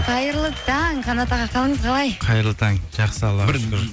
қайырлы таң қанат аға қалыңыз қалай қайырлы таң жақсы